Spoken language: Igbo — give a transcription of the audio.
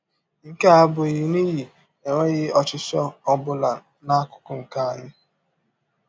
Nke a abụghị n’ihi enweghị ọchịchọ ọ bụla n’akụkụ nke anyị.